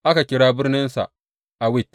Aka kira birninsa Awit.